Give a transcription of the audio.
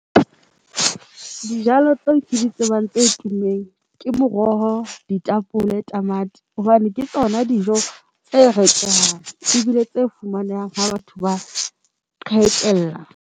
Dijalo tseo ke di tsebang tse tummeng ke moroho, ditapole, tamati hobane ke tsona dijo tse rekwang e bile tse fumanehang ha batho ba .